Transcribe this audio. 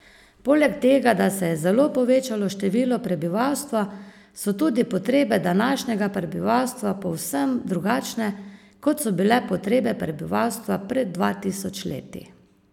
Poleg tega, da se je zelo povečalo število prebivalstva, so tudi potrebe današnjega prebivalstva povsem drugačne, kot so bile potrebe prebivalstva pred dva tisoč leti.